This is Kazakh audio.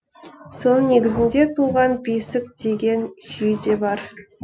соның негізінде туған бесік деген күйі де бар